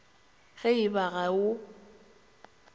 ge e ba ga o